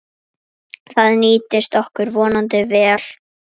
Það nýtist okkur vonandi vel.